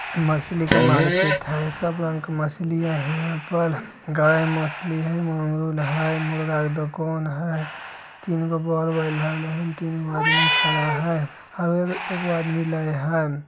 मछली के मार्केट हेय सब रंग मछली हेय हीया हीया पर गाय मछली हेय मुर्गा के दोकान हेय तीन गो बल्ब लगे हये तीन गो आदमी खड़ा हेय एगो आदमी लेवे हये।